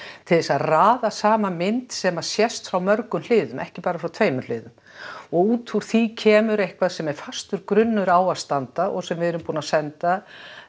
til þess að raða saman mynd sem að sést frá mörgum hliðum ekki bara frá tveimur hliðum og út úr því kemur eitthvað sem er fastur grunnur á að standa og sem við erum búin að senda